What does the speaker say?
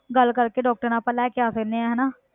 ਗੱਲ ਕਰਕੇ doctor ਨਾਲ ਆਪਾਂ ਲੈ ਕੇ ਆ ਸਕਦੇ ਹਾਂ ਹਨਾ।